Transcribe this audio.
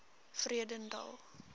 vredendal